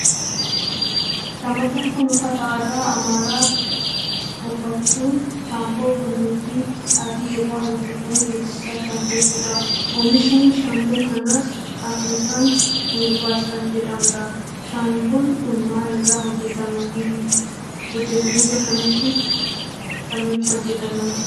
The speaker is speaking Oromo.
Shamarreen kun uffata aadaa Amaaraa uffachuun shaamboo qullubbii adii irraa hojjetame beeksisaa kan jirtudha. Oomishinni shaamboo kanaas Afrikaan Heerbaal kan jedhamudha. Shaanboon kun maal irraa hojjetama? biyya kamitti kamitti hojjetama?